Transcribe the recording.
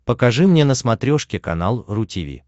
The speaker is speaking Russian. покажи мне на смотрешке канал ру ти ви